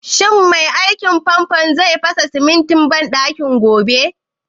Shin mai aikin fanfon zai kafa sinkin banɗakin gobe?